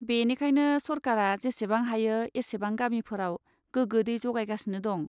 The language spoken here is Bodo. बेनिखायनो सरकारा जेसेबां हायो एसेबां गामिफोराव गोगो दै जगायगासिनो दं।